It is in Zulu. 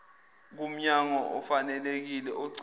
kumnyango ofanelekile ogcina